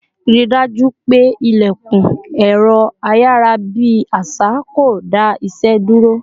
Rí dájú pé ilẹkun ẹrọ ayarabi àṣà kò dá ìṣe dúró